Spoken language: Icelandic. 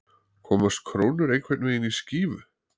Komast krónur einhvern veginn í skífu